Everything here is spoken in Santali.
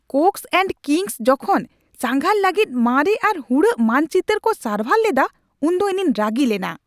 ᱠᱳᱠᱥ ᱮᱱᱰ ᱠᱤᱝᱥ ᱡᱚᱠᱷᱚᱱ ᱥᱟᱸᱜᱷᱟᱨ ᱞᱟᱹᱜᱤᱫ ᱢᱟᱨᱮ ᱟᱨ ᱦᱩᱲᱟᱹᱜ ᱢᱟᱱᱪᱤᱛᱟᱹᱨ ᱠᱚ ᱥᱟᱨᱵᱷᱟᱨ ᱞᱮᱫᱟ ᱩᱱᱫᱚ ᱤᱧᱤᱧ ᱨᱟᱹᱜᱤ ᱞᱮᱱᱟ ᱾